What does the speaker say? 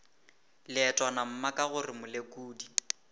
leetwana mma ka gore molekodi